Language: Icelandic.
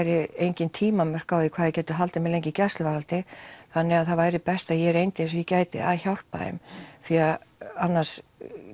engin tímamörk á því hvað þei gætu haldið mér lengi í gæsluvarðhaldi þannig það væri best að ég reyndi eins og ég gæti að hjálpa þeim því annars